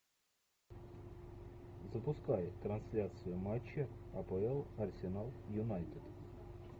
запускай трансляцию матча апл арсенал юнайтед